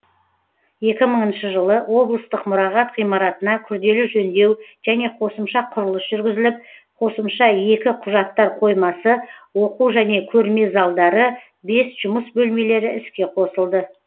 екі мыңыншы жылы облыстық мұрағат ғимаратына күрделі жөндеу және қосымша құрылыс жүргізіліп қосымша екі құжаттар қоймасы оқу және көрме залдары бес жұмыс бөлмелері іске қосылды